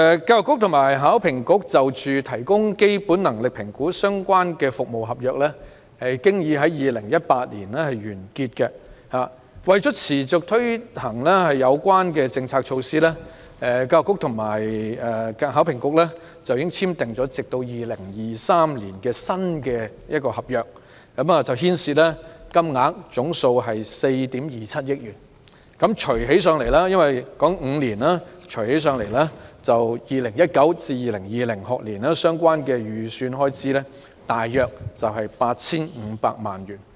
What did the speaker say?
教育局與考評局就提供基本能力評估相關服務訂立的合約已於2018年屆滿，為持續推行有關的政策措施，教育局再與考評局簽訂新合約，為期5年，將於2023年屆滿，涉及金額總數為4億 2,700 萬元，若除之以 5， 則 2019-2020 學年的相關預算開支約為 8,500 萬元。